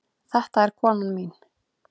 Þetta er konan mín.